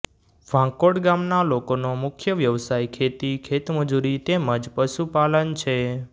વાંકોડ ગામના લોકોનો મુખ્ય વ્યવસાય ખેતી ખેતમજૂરી તેમ જ પશુપાલન છે